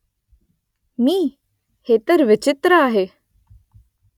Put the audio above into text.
मी ? हे तर विचित्र आहे